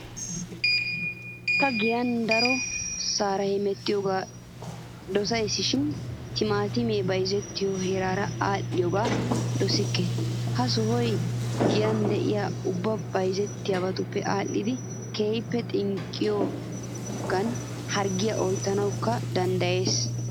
Ta giyan darosara hemettiyoogaa dosayisishin timaatimiyaa bayizziyoosaara aadhdhiyoogaa dosikke. Ha sohayi giyan de'iyaa ubbabaa bayizziyoosaape aadhidi keehippe xinqqiyoogan harggiyaa oyittanawukka danddayees.